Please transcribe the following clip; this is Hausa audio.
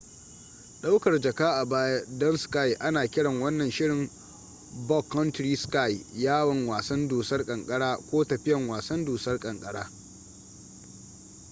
daukar jaka a baya don ski ana kiran wannan shirin backcountry ski yawon wasan dusar kankara ko tafiyan wasan dusar kankara